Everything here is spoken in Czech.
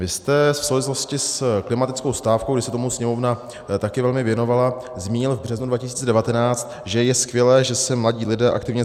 Vy jste v souvislosti s klimatickou stávkou, kdy se tomu Sněmovna taky velmi věnovala, zmínil v březnu 2019, že je skvělé, že se mladí lidé aktivně...